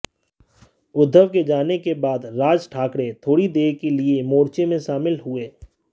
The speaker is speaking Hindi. उद्धव के जाने के बाद राज ठाकरे थोड़ी देर के लिए मोर्चे में शामिल हुए